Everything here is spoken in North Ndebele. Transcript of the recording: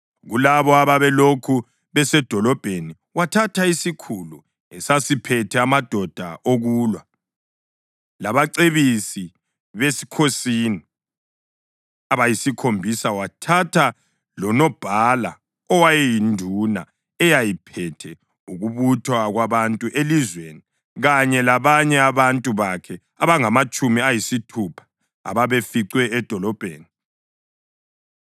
Kulabo ababelokhu besedolobheni wathatha isikhulu esasiphethe amadoda okulwa, labacebisi besikhosini abayisikhombisa. Wathatha lonobhala owayeyinduna eyayiphethe ukubuthwa kwabantu elizweni kanye labanye abantu bakhe abangamatshumi ayisithupha ababeficwe edolobheni.